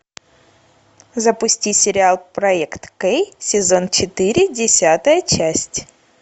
запусти сериал проект кей сезон четыре десятая часть